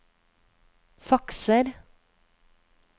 fakser